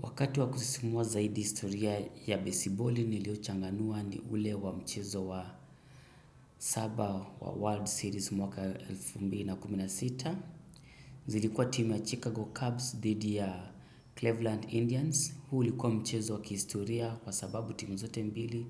Wakati wa kusisimua zaidi historia ya besiboli niliochanganua ni ule wa mchezo wa saba wa World Series mwaka elfu mbili na kumi na sita. Zilikuwa timu ya Chicago Cubs dhidi ya Cleveland Indians. Huu ulikuwa mchezo wa kihistoria kwa sababu timu zote mbili.